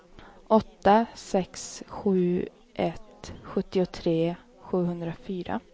åtta sex sju ett sjuttiotre sjuhundrafyra